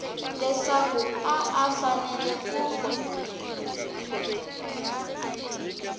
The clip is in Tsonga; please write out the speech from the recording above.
leswaku a a fanele ku